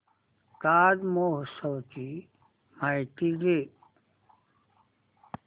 ताज महोत्सव ची माहिती दे